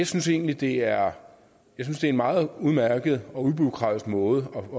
synes egentlig det er en meget udmærket og ubureaukratisk måde